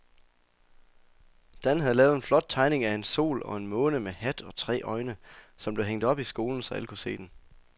Dan havde lavet en flot tegning af en sol og en måne med hat og tre øjne, som blev hængt op i skolen, så alle kunne se den.